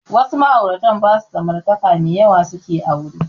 Wasu ma'auratan ba su samartaka mai yawa suke aure